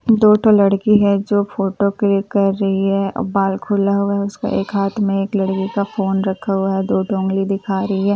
दो ठो लड़की है जो फोटो क्लिक कर रही है और बाल खोला हुआ है उसका एक हाथ में एक लड़की का फोन रखा हुआ है दो ठो उंगली दिखा रही है और एक --